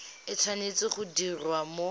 e tshwanetse go diriwa mo